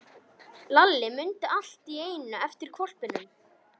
Lalli mundi allt í einu eftir hvolpinum.